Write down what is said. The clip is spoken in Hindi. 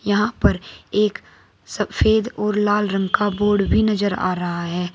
यहां पर एक सफेद और लाल रंग का बोर्ड भी नजर आ रहा है।